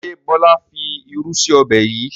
Ṣé Bọlá fi irú sì ọbẹ̀ yìí?